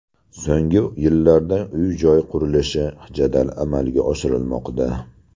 So‘nggi yillarda uy-joy qurilishi jadal amalga oshirilmoqda.